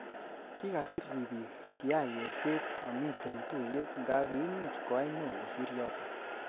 Kikasir ripik kiay kerset amitoi tuiyet nga kiimuch koay neo kosir yotok